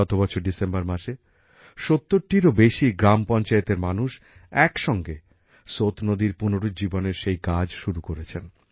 গত বছর ডিসেম্বর মাসে ৭০টিরও বেশি গ্রাম পঞ্চায়েতের মানুষ একসঙ্গে সোত নদীর পুনরুজ্জীবনের সেই কাজ শুরু করেছেন